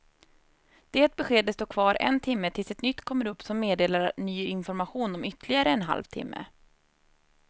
Det beskedet står kvar en timme tills ett nytt kommer upp som meddelar ny information om ytterligare en halv timme.